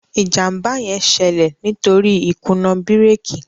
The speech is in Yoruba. ìjàmbá yén ṣẹlẹ nítorí ikuna bírékì